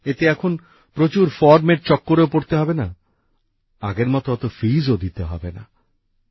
এতে এখন প্রচুর ফর্মের চক্করেও পড়তে হবে না আগের মত অত মাশুল ও দিতে হবে না